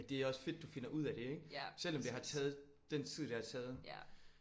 Men det er også fedt du finder ud af det ik? Selvom det har taget den tid det har taget